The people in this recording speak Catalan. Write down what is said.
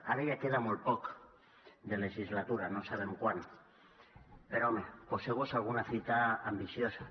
ara ja queda molt poc de legislatura no sabem quant però home poseu vos alguna fita ambiciosa